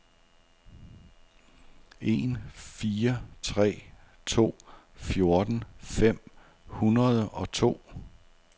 en fire tre to fjorten fem hundrede og to